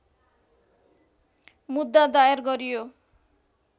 मुद्दा दायर गरियो